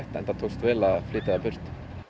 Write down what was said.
enda tókst vel að flytja það burt